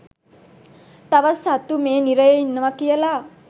තවත් සත්තු මේ නිරයේ ඉන්නවා කියලා.